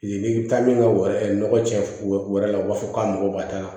N'i bɛ taa min ka wari nɔgɔ cɛn wɛrɛ la u b'a fɔ k'a mago b'a la